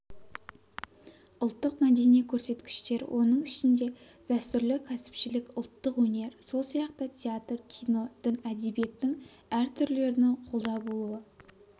ұлттық-мәдени көрсеткіштер оның ішінде дәстүрлі кәсіпшілік ұлттық өнер сол сияқты театр кино дін әдебиеттің әр түрлерінің қолда болуы